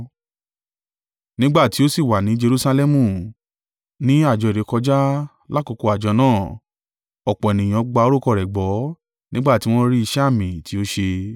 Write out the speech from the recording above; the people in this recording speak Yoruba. Nígbà tí ó sì wà ní Jerusalẹmu, ní àjọ ìrékọjá, lákokò àjọ náà, ọ̀pọ̀ ènìyàn gba orúkọ rẹ̀ gbọ́ nígbà tí wọ́n rí iṣẹ́ àmì tí ó ṣe.